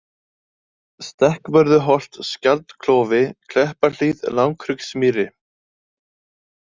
Stekkvörðuholt, Skjaldklofi, Kleppahlíð, Langhryggsmýri